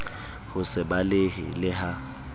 ho se balehe le ha